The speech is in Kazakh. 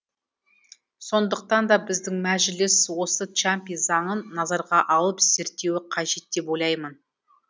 сондықтан да біздің мәжіліс осы чампи заңын назарға алып зертеуі қажет деп ойлаймын